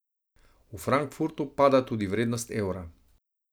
V Frankfurtu pada tudi vrednost evra.